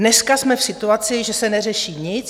Dneska jsme v situaci, že se neřeší nic.